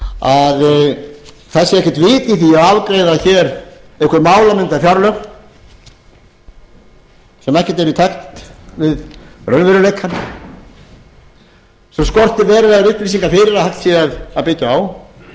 að það sé ekkert vit í því að afgreiða hér einhver málamyndafjárlög sem ekkert eru í takt við raunveruleikann sem skortir verulegar upplýsingar fyrir að hægt sé að byggja á og hér ættu